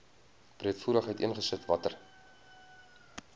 breedvoerig uiteengesit watter